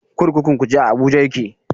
Kurkukun Kuje a Abuja take.